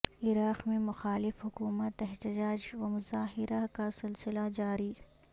عراق میں مخالف حکومت احتجاج و مظاہرہ کا سلسلہ جاری